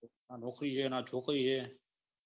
ના નોકરી હે ના છોકરી હે